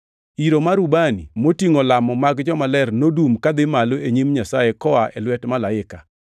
Iro mar ubani motingʼo lamo mag jomaler nodum kadhi malo e nyim Nyasaye koa e lwet malaika.